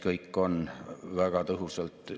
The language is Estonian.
COVID‑i kriis tõi need kitsaskohad eriti valusalt välja.